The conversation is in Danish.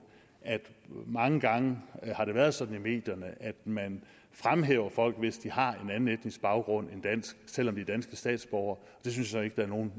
at mange gange har det været sådan i medierne at man fremhæver folk hvis de har en anden etnisk baggrund end dansk selv om de er danske statsborgere det synes jeg ikke der er nogen